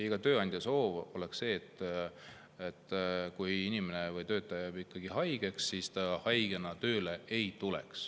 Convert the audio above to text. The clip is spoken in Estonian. Iga tööandja soov on see, et kui töötaja jääb haigeks, siis ta haigena tööle ei tule.